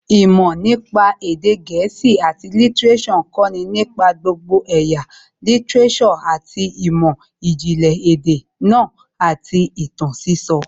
Ìmọ̀ nípa èdè gẹ̀ẹ́sì àti lítíréṣọ̀ ń kọ̀ nípa gbogbo ẹ̀yà lítíréṣọ̀ àti ìmọ̀ ìjìnlẹ̀ èdè náà àti ìtàn sísọ